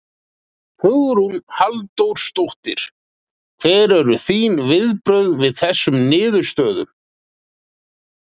Hugrún Halldórsdóttir: Hver eru þín viðbrögð við þessum niðurstöðum?